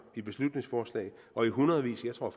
i beslutningsforslag og i hundredvis jeg tror